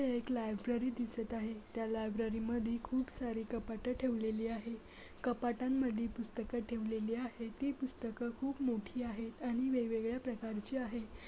एक लायब्ररी दिसत आहे त्या लायब्ररी मधी खूप सारे कपाटे ठेवलेली आहे कपाटांमधी पुस्तकं ठेवलेली आहे ती पुस्तकं खूप मोठी आहेत आणि वेगवेगळ्या प्रकारच्या आहे.